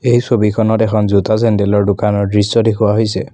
এই ছবিখনত এখন জোতা-চেন্দেলৰ দোকানৰ দৃশ্য দেখুওৱা হৈছে।